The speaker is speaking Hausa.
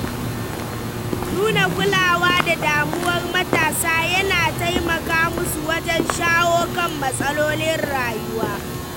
Nuna kulawa da damuwar matasa yana taimaka musu wajen shawo kan matsalolin rayuwa.